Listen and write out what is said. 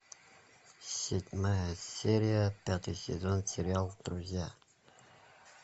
седьмая серия пятый сезон сериал друзья